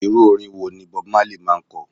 Irú orin wo ni bob marley máa ń ko?